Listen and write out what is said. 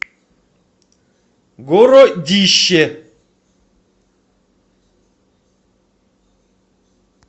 городище